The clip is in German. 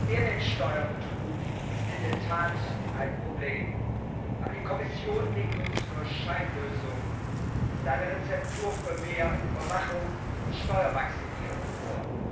Mehrwertsteuerbetrug ist in der Tat ein Problem, aber die Kommission legt uns nur Scheinlösungen und eine Rezeptur für mehr Überwachung und Steuermaximierung vor.